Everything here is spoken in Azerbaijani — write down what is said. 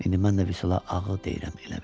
İndi mən də Vüsala ağı deyirəm elə bil.